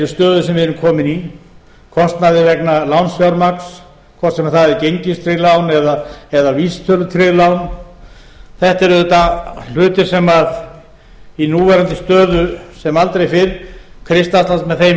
stöðu sem við erum komin í kostnaði vegna lánsfjármagns hvort sem það eru gengistryggð lán eða vísitölutryggð lán þetta er auðvitað hluti sem í núverandi stöðu sem aldrei fyrr kristallast með þeim